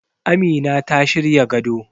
Amina ta shirya gado